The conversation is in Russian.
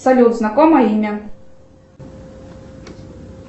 салют знакомое имя